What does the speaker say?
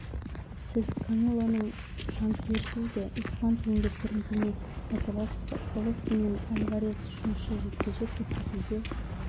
сіз канелоның жанкүйерісіз бе испан тілінде бірдеңе айта аласыз ба головкин мен альварес үшінші жекпе-жек өткізуге